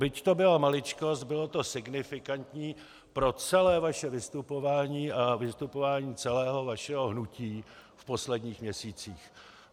Byť to byla maličkost, bylo to signifikantní pro celé vaše vystupování a vystupování celého vašeho hnutí v posledních měsících.